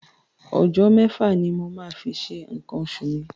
Ọjọ́ mẹ́fà ni mo máa fi ṣe nǹkan oṣù mi.